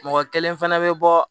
Mɔgɔ kelen fana bɛ bɔ